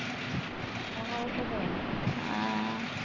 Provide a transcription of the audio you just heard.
ਆਹ